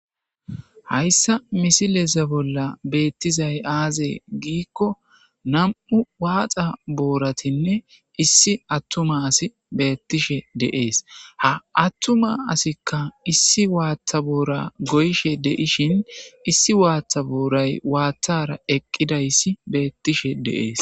hayssa misileza bolla beettizay aaze giikko nam7u waaxa booratinne issi attuma asi beettishe de'ees ha attuma asikka issi waaththa boora goyshe de7ishin issi waaththa booray waaththara eqqidayssi beettishe de'ees